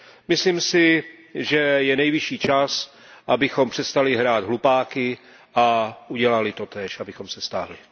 Myslím si, že je nevyšší čas, abychom přestali hrát hlupáky a udělali totéž, abychom se stáhli.